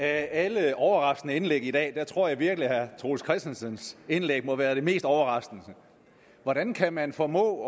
alle overraskende indlæg i dag tror jeg virkelig at herre troels christensens indlæg må være det mest overraskende hvordan kan man formå